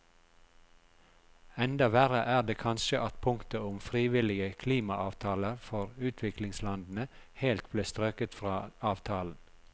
Enda verre er det kanskje at punktet om frivillige klimaavtaler for utviklingslandene helt ble strøket fra avtalen.